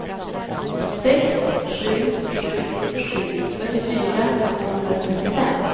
sex sju sju sju fyrtiofyra tvåhundratrettiofem